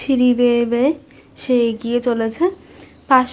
সিঁড়ি বেয়ে বেয়ে সে এগিয়ে চলেছে। পাশ--